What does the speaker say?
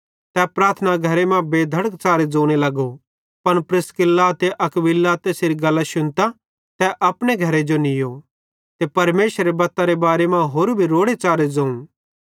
तै प्रार्थना घरे मां बेधड़क च़ारे ज़ोने लगो पन प्रिस्किल्ला ते अक्विला तैसेरी गल्लां शुन्तां तैनेईं तै अपने घरे नीयो ते परमेशरेरी बत्तारे बारे तैस होरू भी रोड़े च़ारे ज़ोवं